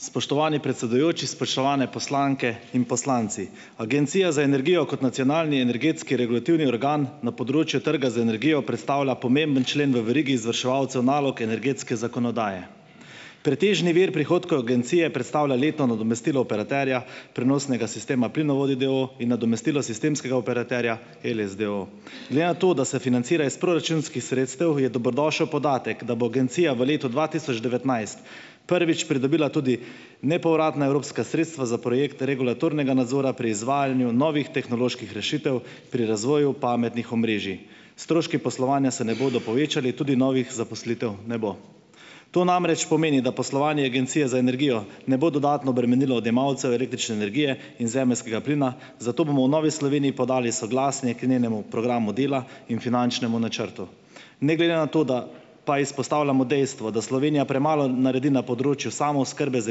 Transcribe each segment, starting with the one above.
Spoštovani predsedujoči, spoštovane poslanke in poslanci! Agencija za energijo kot nacionalni energetski regulativni organ na področju trga z energijo predstavlja pomemben člen v verigi izvrševalcev nalog energetske zakonodaje. Pretežni vir prihodkov agencije predstavlja letno nadomestilo operaterja prenosnega sistema Plinovodi, d. o. o., in nadomestilo sistemskega operaterja Eles, d. o. o. Glede na to, da se financira iz proračunskih sredstev, je dobrodošel podatek, da bo agencija v letu dva tisoč devetnajst prvič pridobila tudi nepovratna evropska sredstva za projekt regulatornega nadzora pri izvajanju novih tehnoloških rešitev pri razvoju pametnih omrežij. Stroški poslovanja se ne bodo povečali, tudi novih zaposlitev ne bo. To namreč pomeni, da poslovanje Agencije za energijo ne bo dodatno bremenilo odjemalcev električne energije in zemeljskega plina, zato bomo v Novi Sloveniji podali soglasni k njenemu programu dela in finančnemu načrtu. Ne glede na to, da pa izpostavljamo dejstvo, da Slovenija premalo naredi na področju samooskrbe z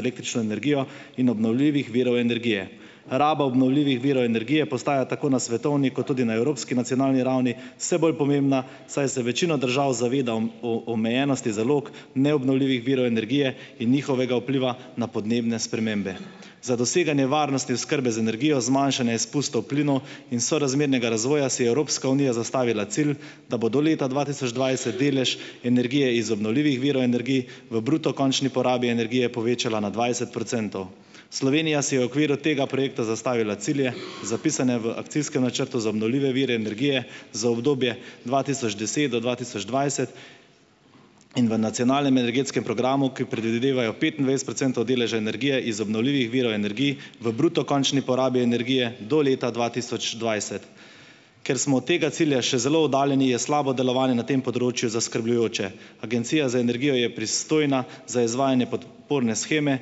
električno energijo in obnovljivih virov energije. Raba obnovljivih virov energije postaja tako na svetovni kot tudi na evropski ravni nacionalni vse bolj pomembna, saj se večina držav zaveda o omejenosti zalog neobnovljivih virov energije in njihovega vpliva na podnebne spremembe. Za doseganje varnosti oskrbe z energijo, zmanjšanje izpustov plinov in sorazmernega razvoja si je Evropska unija zastavila cilj, da bo do leta dva tisoč dvajset delež energije iz obnovljivih virov energij v bruto končni porabi energije povečala na dvajset procentov. Slovenija si je v okviru tega projekta zastavila cilje, zapisane v Akcijskem načrtu za obnovljive vire energije za obdobje dva tisoč deset do dva tisoč dvajset in v Nacionalnem energetskem programu, ki predvidevajo petindvajset procentov deleža energije iz obnovljivih virov energij v bruto končni porabi energije do leta dva tisoč dvajset. Ker smo od tega cilja še zelo oddaljeni, je slabo delovanje na tem področju zaskrbljujoče. Agencija za energijo je pristojna za izvajanje podp- orne sheme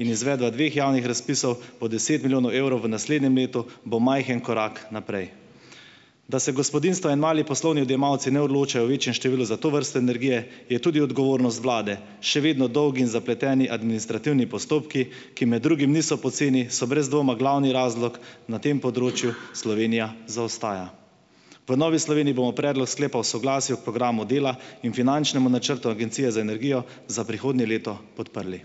in izvedla dveh javnih razpisov po deset milijonov evrov v naslednjem letu bo majhen korak naprej. Da se gospodinjstva in mali poslovni odjemalci ne odločajo v večjem številu za to vrsto energije, je tudi odgovornost vlade. Še vedno dolgi in zapleteni administrativni postopki, ki med drugim niso poceni, so brez dvoma glavni razlog, na tem področju Slovenija zaostaja. V Novi Sloveniji bomo Predlog sklepa o soglasju k Programu dela in finančnem načrtu Agencije za energijo za prihodnje leto podprli.